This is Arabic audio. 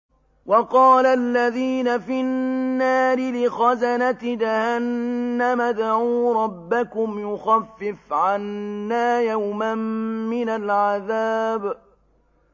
وَقَالَ الَّذِينَ فِي النَّارِ لِخَزَنَةِ جَهَنَّمَ ادْعُوا رَبَّكُمْ يُخَفِّفْ عَنَّا يَوْمًا مِّنَ الْعَذَابِ